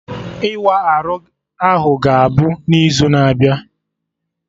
Ịwa arụ ahụ ga-abụ n'izu na-abịa